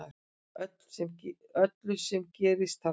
Öllu sem gerðist þarna